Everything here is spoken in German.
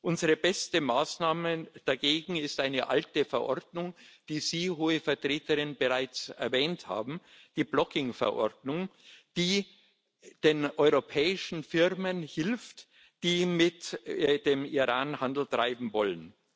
Unsere beste Maßnahme dagegen ist eine alte Verordnung, die Sie, Hohe Vertreterin, bereits erwähnt haben die Blocking Verordnung, die den europäischen Firmen hilft, die mit dem Iran Handel treiben wollen.